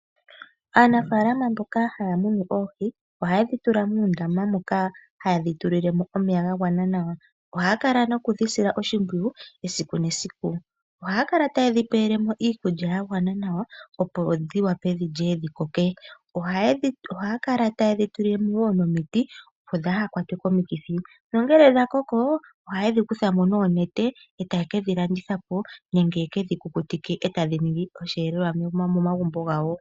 Aanafaalama mboka haya munu oohi oha yedhi tula muundama moka haye dhi tulilemo omeya ga gwana nawa. Ohaya kala noku dhi sila oshimpwiyu esiku nesiku. Ohaya kala taye dhi pelemo iikulya ya gwana nawa opo dhi wape dhilye dhi koke. Ohaya kala taye dhi tulile mo wo nomiti opo dhaa kwatwe komikithi. Nongele dha koko ohaye dhi kutha mo noonete, eta ye kedhi landithapo nenge yekedhi kukutike, etadhi ningi osheelelwa momagumbo gawo.